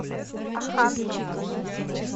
оханском